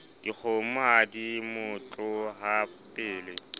dikgomo ha di na motlohapele